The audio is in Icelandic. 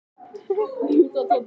Þeir neita sök.